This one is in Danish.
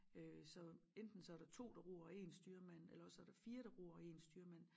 Øh så enten så der 2 der ror og én styrmand eller også så er der 4 der ror og én styrmand